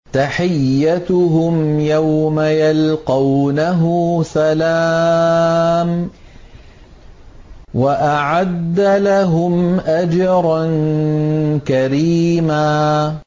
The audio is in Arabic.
تَحِيَّتُهُمْ يَوْمَ يَلْقَوْنَهُ سَلَامٌ ۚ وَأَعَدَّ لَهُمْ أَجْرًا كَرِيمًا